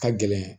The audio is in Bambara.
Ka gɛlɛn